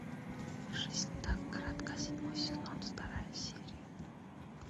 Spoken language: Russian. жизнь так коротка седьмой сезон вторая серия